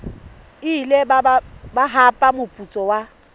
ile ba hapa moputso wa